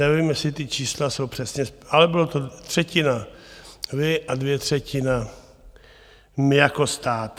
Nevím, jestli ta čísla jsou přesně, ale bylo to třetina vy a dvě třetiny my jako stát.